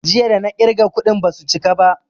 Jiya da na ƙirga kuɗin basu chika ba